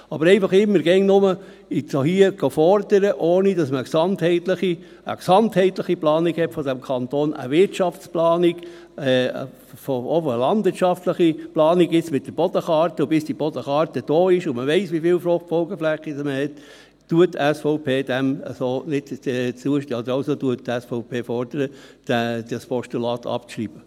Aber einfach immer wieder – jetzt auch hier – zu fordern, ohne dass man eine gesamtheitliche Planung dieses Kantons hat, eine Wirtschaftsplanung, auch eine landwirtschaftliche Planung jetzt mit der Bodenkarte, und bis die Bodenkarte vorliegt und man weiss, wie viele FFF man hat – deshalb fordert die SVP, das Postulat abzuschreiben.